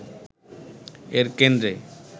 এর কেন্দ্রে